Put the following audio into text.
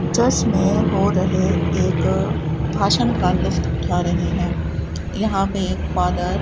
church में हो रहे एक भाषण का लुत्फ उठा रहे हैं यहां पे एक फादर --